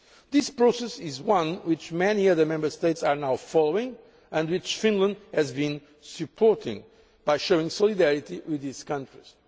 This process is one which many other Member States are now following and which Finland has been supporting by showing solidarity with these countries.